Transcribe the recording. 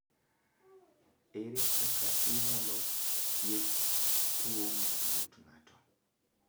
Ere kaka inyalo thiedh tuwo mar ng’ut ng’ato?